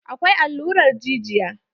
Akwai allurar jijiya.